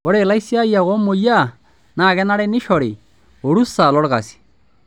Ore laisiayiak oomoyiaa naa kenare neishori orusa lolkasi.